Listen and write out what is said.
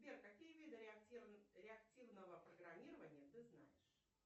сбер какие виды реактивного программирования ты знаешь